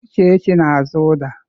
Uchechi na-azụ uda.